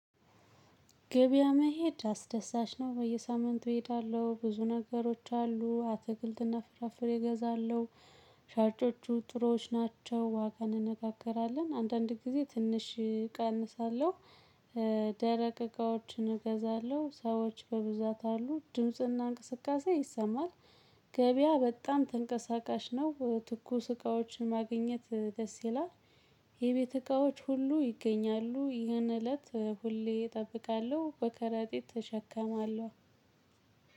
ገበያ መሄድ አስደሳች ነው በየሳምንቱ እሄዳለሁ ብዙ ነገሮች አሉ አትክልትና ፍራፍሬ እገዛለሁ። ሻጮቹ ጥሮዎች ናቸው ዋጋ እንነጋገራለን አንዳንድ ጊዜ ትንሽ እቀንሳለሁ። ደረቅ እቃዎችን እገዛለሁ ሰዎች በብዛት አሉ ድምጽና እንቅስቃሴ ይሰማል። ገበያ በጣም ተንቀሳቃሽ ነው ትኩስ እቃዎችን ማግኘት ደስ ይላል። የቤት እቃዎች ሁሉ ይገኛሉ ይህን እለት ሁሌ እጠብቃለሁ በቀረጢት እሸከማለሁ።